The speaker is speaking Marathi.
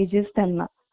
एकदम.